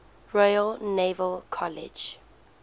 royal naval college